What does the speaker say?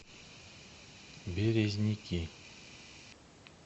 березники